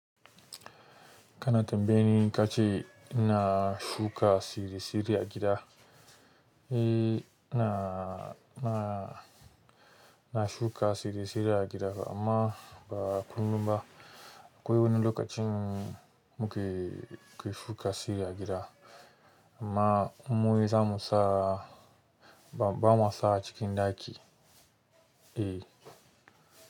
Kana tambaye ni ka ce ina shuka siri-siri a gida? Eh ina, ina, ina shuka siri-siri a gida amma ba kullum ba. Akwai wani lokacin muke, mu ke shuka siri a gida amma mu wai za mu sa ba, ba ma sa a cikin ɗaki. Eh.